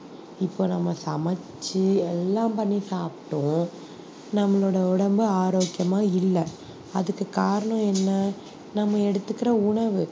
இப்போ நம்ம சமைச்சு எல்லாம் பண்ணி சாப்பிட்டும் நம்மளோட உடம்பு ஆரோக்கியமா இல்லை அதுக்கு காரணம் என்ன நம்ம எடுத்துக்கிற உணவு